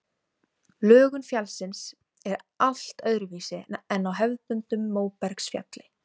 Lögun fjallsins er allt öðruvísi en á hefðbundnu móbergsfjalli.